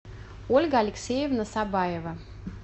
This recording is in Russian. ольга алексеевна сабаева